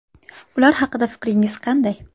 Ular haqida fikringiz qanday?